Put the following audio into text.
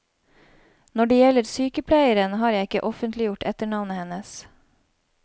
Når det gjelder sykepleieren, har jeg ikke offentliggjort etternavnet hennes.